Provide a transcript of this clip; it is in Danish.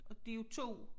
Og de jo 2